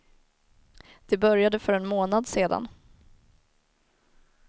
Det började för en månad sedan.